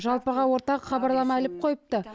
жалпыға ортақ хабарлама іліп қойыпты